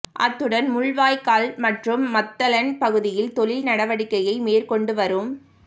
அத்துடன் முள்ளிவாய்க்கால் மற்றும் மாத்தளன் பகுதியில் தொழில் நடவடிக்கையை மேற்கொண்டு வரும்